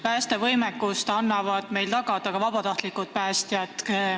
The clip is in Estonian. Päästevõimekust aitavad meil tagada ka vabatahtlikud päästjad.